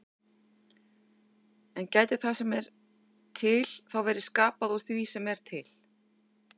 En gæti það sem er til þá verið skapað úr því sem er til?